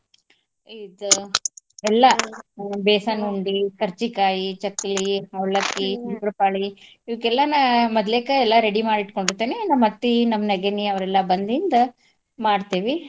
ಇದ್ ಎಲ್ಲಾ besan ಉಂಡಿ ಕರ್ಚಿಕಾಯಿ, ಚಕ್ಲಿ, ಅವ್ಲಕ್ಕಿ ಶಂಕ್ರಪಾಳಿ ಇವಕ್ಕೆಲ್ಲ ನಾ ಮದ್ಲೇಕ ready ಮಾಡಿ ಇಟ್ಕೊಂಡಿರ್ತೇನಿ ನಮ್ಮ ಅತ್ತಿ ನಮ್ ನೆಗೆಣ್ಣಿ ಅವ್ರೆಲ್ಲ ಬಂದಿಂದ ಮಾಡ್ತೇವಿ.